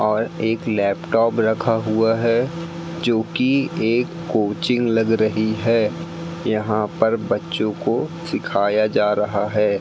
और एक लैपटॉप रखा हुआ हैं जो की एक कोचिंग लग रही है यहां पर बच्चों को सिखाया जा रहा है।